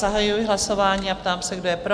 Zahajuji hlasování a ptám se, kdo je pro?